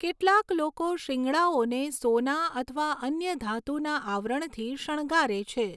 કેટલાંક લોકો શિંગડાઓને સોના અથવા અન્ય ધાતુના આવરણથી શણગારે છે.